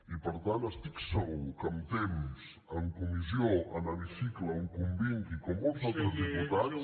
i per tant estic segur que amb temps en comissió en hemicicle on convingui com molts altres diputats